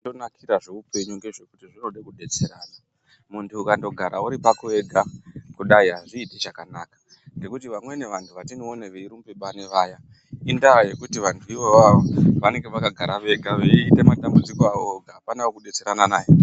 Pazvinonakira zveupenyu ngezvekuti zvinoda kudetserana . Muntu ukandogara uri pako wega kudai azviiti chakanaka. Ngekuti vamweni vantu vatinoona veirumbe bani vaye indaa yekuti vantu ivavo vanenge vakagara vega veite matambudziko avo vega apana wekudetserana naye.